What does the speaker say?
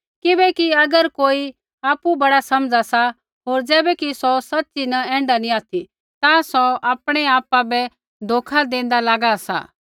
किबैकि अगर कोई आपु बड़ा समझ़ा सा होर ज़ैबैकि सौ सच़ी न ऐण्ढा नैंई ऑथि ता सौ आपणै आपा बै धोखा देंदा लागा सा